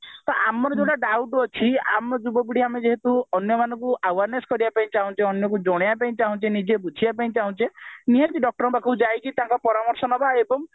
ତ ଆମର ଯଉଟା doubt ଅଛି ଆମ ଯୁବପିଢି ଯେହେତୁ ଅନ୍ୟମାନଙ୍କୁ awareness କରିବାକୁ ଚାହୁଁଚେ ଅନ୍ୟକୁ ଜଣେଇବା ପାଇଁ ଚାହୁଁଚେ ଅନ୍ୟକୁ ବୁଝେଇବା ପାଇଁ ଚାହୁଁଚେ ନିହାତି doctor ଙ୍କ ପାଖକୁ ଯାଇ ତାଙ୍କ ପରାମର୍ଶ ନେବା ଏବଂ